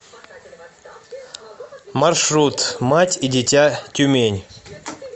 маршрут мать и дитя тюмень